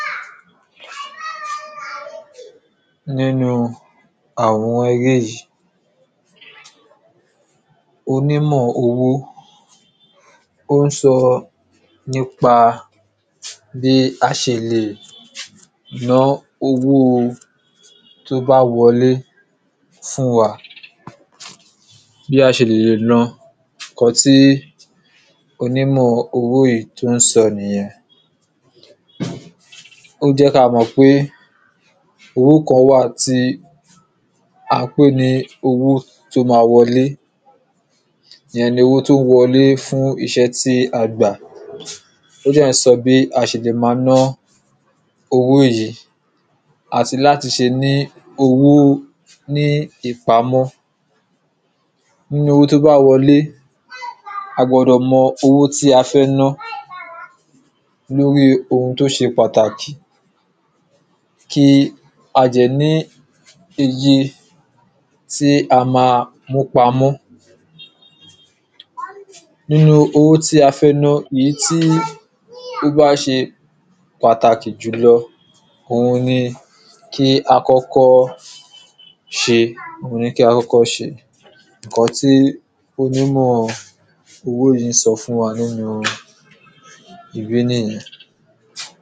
nínu àwọn eléyìí, onímọ̀ owó ó ń sọ nípa bi a ṣe lè ná owóo tó bá wọlé fún wa bí a ṣe lè na, ǹkan tí onímọ̀ owó yìí tó ń sọ nìyẹn ó jẹ́ kí a mọ̀ pé owó kan wà tí à ń pè ní owó to máa wọlé, ìyẹn ni owó tí ó wọlé fún iṣẹ́ tí a gbà ó dẹ̀ ń sọ bí a ṣe lè maa ná owó yìí àti láti ṣe ní owó ní ìpamọ́ nínu owó tí ó bá wọlé a gbọdọ̀ mọ owó tí a fẹ́ ná lóri ohun tó ṣe pàtàkì kí a dẹ̀ ní iye tí a máa mú pamọ́ nínu owó tí a fẹ́ ná, èyí tí ó bá ṣe pàtàkì jùlọ òun ni kí a kọ́kọ́ ṣe, òun ni kí a kọ́kọ́ ṣe ǹkan tí onímọ̀ owó yìí ń sọ fún wa nínu ibí nìyẹn